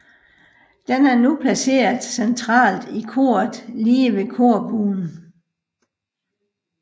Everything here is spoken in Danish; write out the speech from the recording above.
Den er nu placeret centralt i koret lige ved korbuen